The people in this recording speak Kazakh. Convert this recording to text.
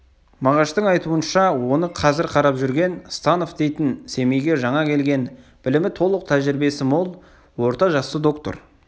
мағаштың айтуынша оны қазір қарап жүрген станов дейтін семейге жаңа келген білімі толық тәжірибесі мол орта жасты доктор